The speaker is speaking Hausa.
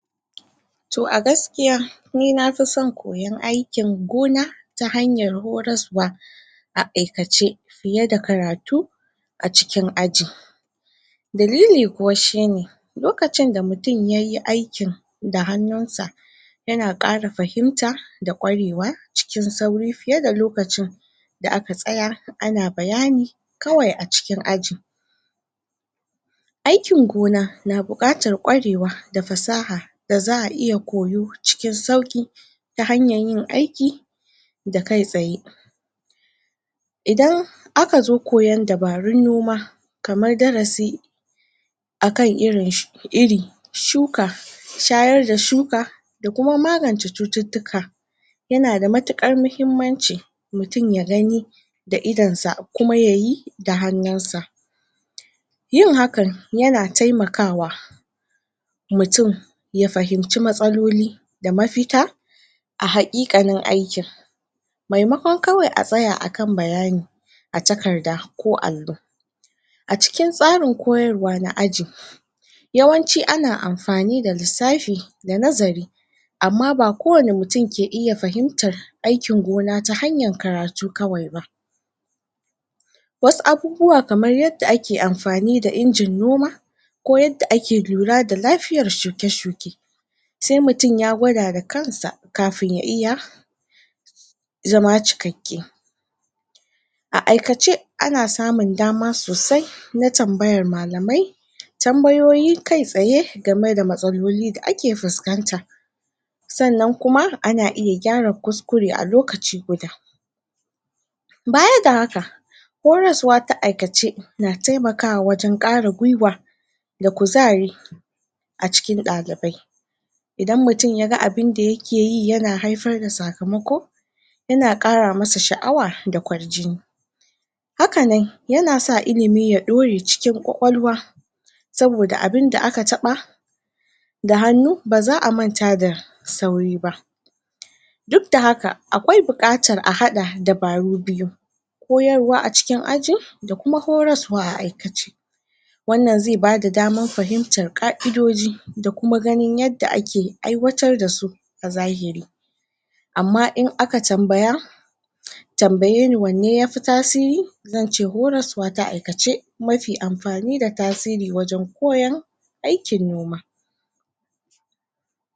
Toh a gaskiya ni na fi san koyan aikin gona ta hanyar horasuwa, a aikace fiye da karatu, a cikin aji. dalili kuwa shi ne lokaci da mutum yayi aiki da hanun sa ya na kara fahimta da ƙwarewa cikin sauri fiye da lokacin da aka tsaya ana bayani, kawai a cikin aji aikin gona na bukatar kwarewa da fasaha da zaa iya koyo cikin sauki ta hanyar yin aiki da kai tsaye idan a ka zo koyan dabarun noma kamar darasi akai irin, iri, shuka shayar da shuka da kuma maganta cututuka, ya na da matukar mahimmanci mutum ya gani da idon sa kuma yayi da hanun sa yi hakan ya na taimakawa mutum ya fahimci matsaloli da mafita a haƙiƙanin aikin mai makon kawai a tsaya a kan ayani a takarda ko allo Acikin tsarin koyarwa na ajin yawanci ana amfani da lisafi da nazari amma ba kowani mutum ke iya fahimtar aikin gona ta hanyar karatu kawai ba. Wasu abubuwa kamar yadda ake amfani da injin noma, ko yadda ake lura da lafiyar shuke-shuke se mutum ya gwada da kansa kafun ya iya zama cikake. A aikace, ana samun dama sosai na tambayar mallamai, tambayoyi kai tsaye game da matsaloli da ake fuskanta. Tsannan kuma ana iya gyara kuskure a lokaci guda baya da haka koyarsuwa da aikace na taimakawa wajen kara gwiwa da kuzari acikin dalibai idan mutum ya ga abunda ya ke yi ya na haifar da sakamako ya na kara masa shaawa da kwar jini. Haka nan ya na sa ilimi ya daure cikin kwakwalwa saboda abunda aka taba da hanu, ba zaa manta da sauri ba. Duk da haka akwai bukatar a hada dabaru biyu koyarwa acikin ajin da kuma horarsuwa a aikace. Wannan ze ba da damar fahimtar kaidoji da kuma ganin yadda ake aiwatar dasu a zahiri. Amma in aka tambaya tambaye ni wane ya fi tasiri zan ce horasuwa ta aikace mafi amfani da tasiri wajen koyan aikin noma.